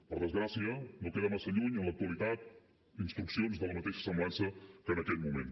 per desgràcia no queden massa lluny en l’actualitat instruccions de la mateixa semblança que en aquell moment